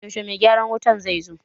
Yaushe mai gyaran wutan zai zo?